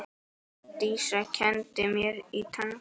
Dísa kenndi mér tangó.